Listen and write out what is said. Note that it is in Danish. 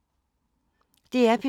DR P2